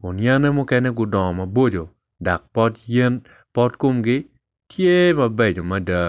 kun yene mukene gudongo maboco dok pot yen pot komgi tye mabeco adada